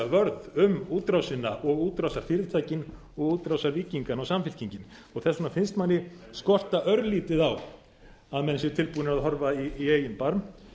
vörð um útrásina og útrásarfyrirtækin og útrásarvíkingana og samfylkingin þess vegna finnst manni skorta örlítið á að menn séu tilbúnir að horfa í eigin barm